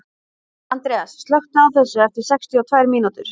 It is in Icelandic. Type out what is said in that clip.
Andreas, slökktu á þessu eftir sextíu og tvær mínútur.